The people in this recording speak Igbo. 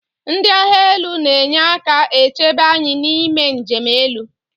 Ndi agha elu na enyeka echebe anyi ime nje 'elu.